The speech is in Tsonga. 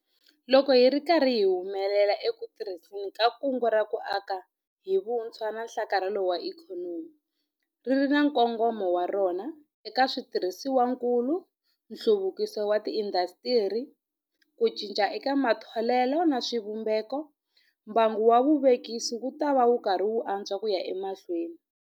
Loko hi ri karhi hi humelela eku tirhiseni ka Kungu ra ku Aka hi Vutshwa na Nhlakarhelo wa Ikhonomi - ri ri na nkongomo wa rona eka switirhisiwakulu, nhluvukiso wa tiindasitiri, ku cinca eka matholelo na swivumbeko - mbangu wa vuvekisi wu ta antswa ku ya emahlweni.